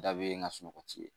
Da bɛ yen nga sunɔgɔ tɛ yen